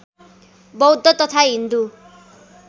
बौद्ध तथा हिन्दू